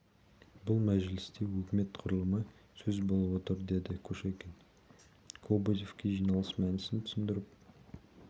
бұл мәжілісте өкімет құрылымы сөз болып отыр деді кушекин кобозевке жиналыс мәнісін түсіндіріп